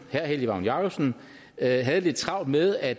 herre helge vagn jacobsen havde havde lidt travlt med at